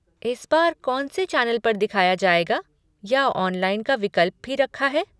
इस बार कौन से चैनल पर दिखाया जाएगा या ऑनलाइन का विकल्प भी रखा है?